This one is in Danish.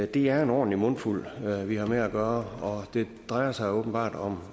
det er en ordentlig mundfuld vi har med at gøre og det drejer sig åbenbart